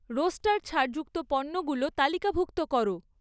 roaster ছাড়যুক্ত পণ্যগুলো তালিকাভুক্ত করো